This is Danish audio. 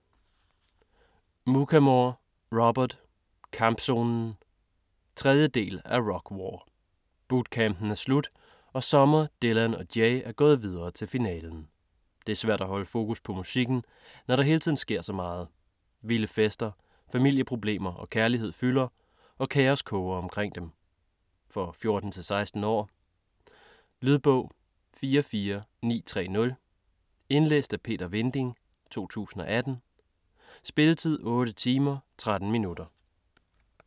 Muchamore, Robert: Kampzonen 3. del af Rock War. Bootcampen er slut og Summer, Dylan og Jay er gået videre til finalen. Det er svært at holde fokus på musikken, når der hele tiden sker så meget. Vilde fester, familieproblemer og kærlighed fylder, og kaos koger omkring dem. For 14-16 år. Lydbog 44930 Indlæst af Peter Vinding, 2018. Spilletid: 8 timer, 13 minutter.